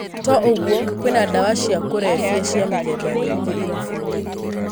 To o ũguo, kwĩna dawa cia kũrebia cia mĩthemba mĩingĩ irabuinĩ.